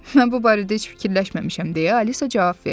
Mən bu barədə heç fikirləşməmişəm, deyə Alisa cavab verdi.